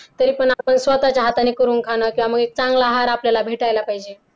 तरीपण आपण स्वतःच्या हाताने करून खाणं किंवा मग एक चांगला आहार आपल्याला भेटायला पाहिजे.